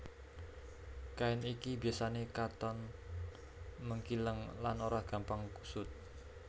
Kain iki biasané katon mengkileng lan ora gampang kusut